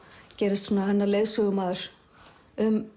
gerist hennar leiðsögumaður um